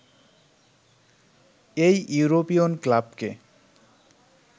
এই ইউরোপিয়ন ক্লাবকে